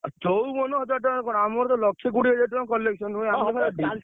ଆ ଚଉବନ ହଜାର ଟଙ୍କା କଣ ଆମର ତ ଲକ୍ଷେ କୋଡିଏ ହଜାର ଟଙ୍କା collection ହୁଏ ।